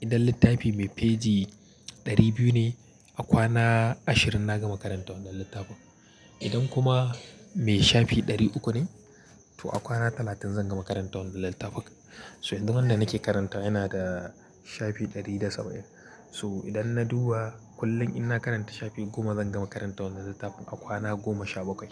idan littafi mai feji ɗari biyu ne a kwana ashirin na gama karanta wannan littafin. Idan kuma mai shafi ɗari uku ne to a kwana talatin zan gama karantawa wannan littafin. So yanzu wada nake karantawa yana da shafi ɗari da saba'in. To idan na duba kullum ina karanta shafi goma zan gama karantawa wannan littafin a kwana goma sha bakwai.